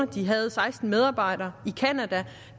de havde seksten medarbejdere i canada